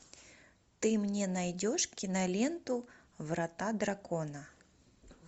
ты мне найдешь киноленту врата дракона